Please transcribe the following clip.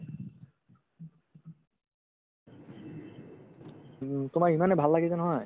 উম, তোমাৰ ইমানে ভাল লাগিছে নহয়